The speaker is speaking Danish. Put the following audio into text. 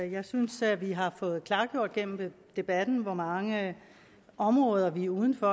jeg synes at vi har fået klargjort gennem debatten hvor mange områder vi er uden for